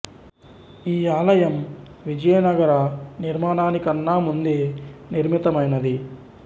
ఈ ఆలయం విజయ నగర నిర్మాణాని కన్న ముందే నిర్మితమైనది